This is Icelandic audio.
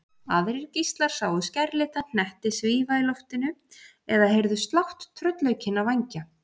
Aðrir gíslar sáu skærlita hnetti svífa í loftinu eða heyrðu slátt tröllaukinna vængja.